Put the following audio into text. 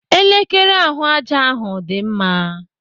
Elekere ahụ ájá hụ dị mma.